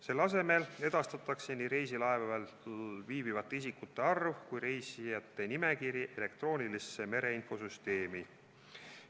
Selle asemel edastatakse nii reisilaevadel viibivate isikute arv kui ka reisijate nimekiri elektroonilisse mereinfosüsteemi.